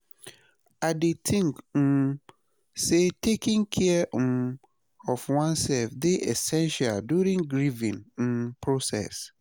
I dey think um say taking care um of oneself dey essential during grieving um process.